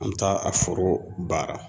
An bɛ taa a foro baara.